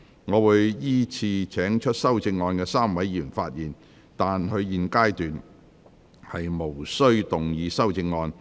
我會依次請提出修正案的3位議員發言，但他們在現階段無須動議修正案。